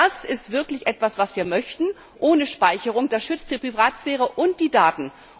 Das ist wirklich etwas, was wir möchten, ohne Speicherung. Das schützt die Privatsphäre und die Daten.